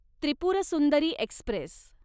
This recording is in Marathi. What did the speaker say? त्रिपुर सुंदरी एक्स्प्रेस